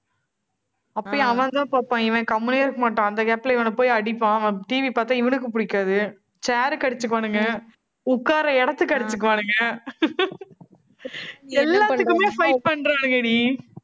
அப்பயும் அவன்தான் பார்ப்பான். இவன் கம்முனே இருக்க மாட்டான். அந்த gap ல, இவனைப் போய் அடிப்பான். அவன் TV பார்த்தால், இவனுக்கு பிடிக்காது. chair க்கு அடிச்சுக்குவானுங்க உட்கார இடத்துக்கு அடிச்சுக்குவானுங்க எல்லாத்துக்குமே fight பண்றானுங்கடி